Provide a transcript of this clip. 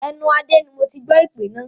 Ẹnu Adé ni moti gbọ́ èpè náà